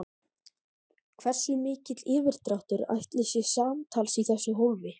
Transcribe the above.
Hversu mikill yfirdráttur ætli sé samtals í þessu hólfi?